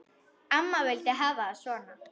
Amma vildi hafa það svona.